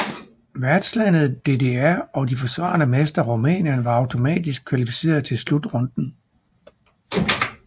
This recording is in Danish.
Værtslandet DDR og de forsvarende mestre Rumænien var automatisk kvalificeret til slutrunden